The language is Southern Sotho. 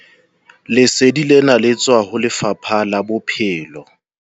Lesedi lena le tswa ho Lefapha la Bophelo.